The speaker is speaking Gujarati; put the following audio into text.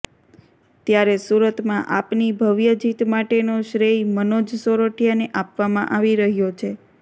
ત્યારે સુરતમાં આપની ભવ્ય જીત માટેનો શ્રેય મનોજ સોરઠીયાને આપવામાં આવી રહ્યો છે